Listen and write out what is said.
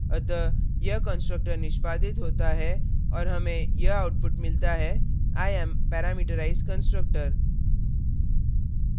अतः यह constructor निष्पादित होता है और हमें यह output मिलता है i am parameterized constructor